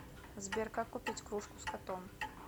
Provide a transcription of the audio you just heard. сбер как купить кружку с котом